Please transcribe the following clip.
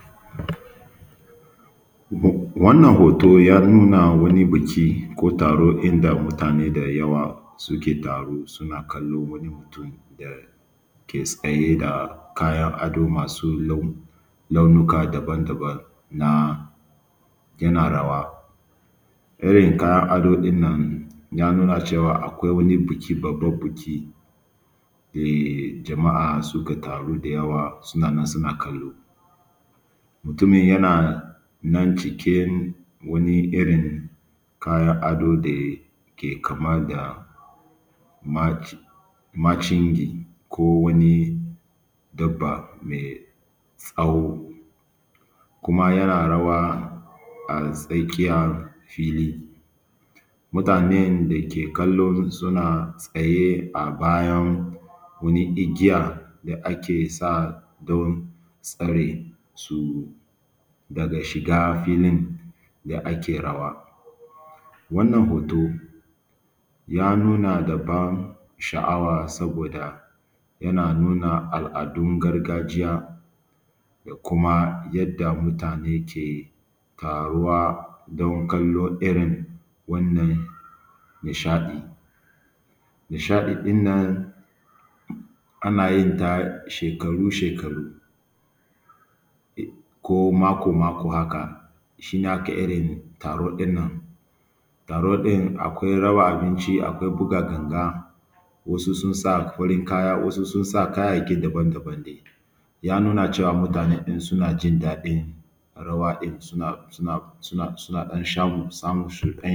Wannan hoto ya nuna wani buki ko taro inda mutane da yawa suke taro suna kallo wani mutum da ke tsaye da kayan ado masu launuka daban-daban na yana rawa. Irin kayan adon nan ya nuna cewa akwai wani buki babbaɗn bukida jama’a suka taru da yawa suna nan suna kallo. Mutumin yana nan cike wani irin kayan ado da ya ke kama da ma macingi ko wani dabba mai tsawo kuma yana rawa a tsakiyar fili. Mutanen da ke kallo suna tsaye a bayan wani igiya da ake sa don tsare su daga shiga filin da ake rawa. Wannan hoto ya nuna da ban sha’awa saboda yana nuna al’adun gargajiya da kuma yadda mutane ke taruwa don kallon irin wannan nishaɗin. Nishaɗi ɗin nan ana yin ta shekaru-shekaru ko mako-mako haka shi ne ake irin taro ɗin nan. Taro ɗin akwai raba abinci akwai buga ganga wasu sun sa farin kaya wasu sun sa kayayyaki daban-daban ne. Ya nuna cewa mutane ɗin suna jindaɗin rawa ɗin suna su na sun a ɗan samun shuɗanya.